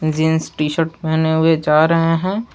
Jeans T shirt पहने हुए जा रहे हैं।